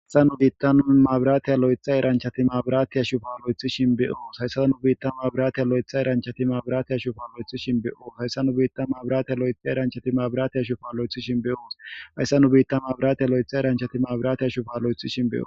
Hayssa nu bittan mabrattiya lo'ita eranchchatti mabrattiya shibu'a loytishshin be'os. Hayssa nu bittan mabrattiya lo'ita eranchchatti mabrattiya shibu'a loytishshin be'os. Hayssa nu bittan mabrattiya lo'ita eranchchatti mabrattiya shibu'a loytishshin be'os. Hayssa nu bittan mabrattiya lo'ita eranchchatti mabrattiya shibu'a loytishshin be'os.